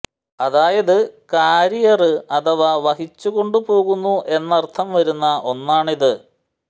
അതായത് ക്യരിയര് അഥവാ വഹിച്ചു കൊണ്ടു പോകുന്നു എന്നര്ത്ഥം വരുന്ന ഒന്നാണിത്